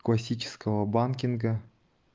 классического банкинга